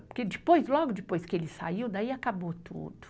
Porque depois, logo depois que ele saiu, daí acabou tudo.